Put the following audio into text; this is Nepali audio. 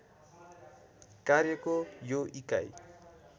कार्यको यो इकाइ